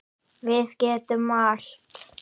Við getum allt.